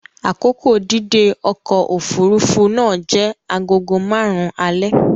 Akoko dídé ọkọ̀ òfuurufú náà jẹ́ agogo márùn-ún alẹ́.